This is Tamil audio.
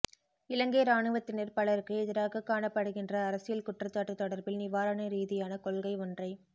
இலங்கை இராணுவத்தினர் பலருக்கு எதிராக காணப்படுகின்ற அரசியல் குற்றச்சாட்டு தொடர்பில் நிவாரண ரீதியான கொள்கை ஒன்றை